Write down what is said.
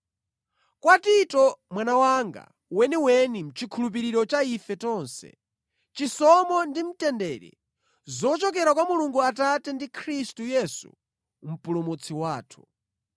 Kwa Tito, mwana wanga weniweni mʼchikhulupiriro cha ife tonse: Chisomo ndi mtendere zochokera kwa Mulungu Atate ndi Khristu Yesu Mpulumutsi wathu.